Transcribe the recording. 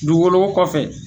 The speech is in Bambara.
Dugukolo ko kɔfɛ